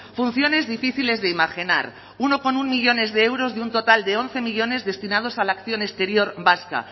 funciones difíciles de imaginar uno coma uno millónes de euros de un total de once millónes destinados a la acción exterior vasca